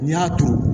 N'i y'a turu